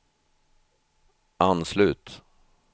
anslut